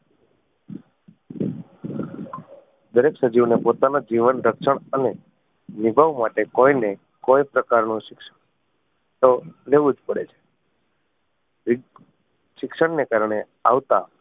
દરેક સજીવ ને પોતાના જીવન રક્ષણ અને નિભવવા માટે કોઈ ને કોઈ પ્રકાર નું શિક્ષણ તો લેવું જ પડે છે શિક્ષણ ને કારણે આવતા